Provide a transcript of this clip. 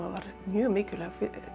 var mjög mikilvæg